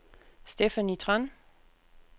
Stephanie Tran